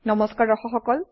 নমস্কাৰ দৰ্শক সকল